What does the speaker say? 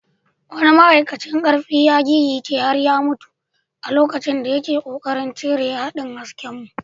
Wani ma’aikacin karfi ya gigice har ya mutu a lokacin da yake kokarin cire haɗin haskenmu.